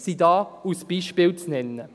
– Dies ist hier als Beispiel zu nennen.